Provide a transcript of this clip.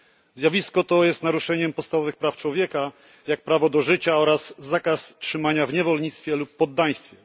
Zjawisko to jest naruszeniem podstawowych praw człowieka, jak prawo do życia, oraz zakazu trzymania w niewolnictwie lub poddaństwie.